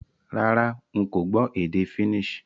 Rárá, n ko gbó édé Finnish